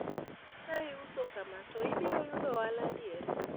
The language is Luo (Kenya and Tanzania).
ka iuso kama to ibiro yudo ohala adier?